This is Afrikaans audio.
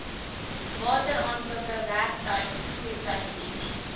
wateraankope werktuig voertuighuur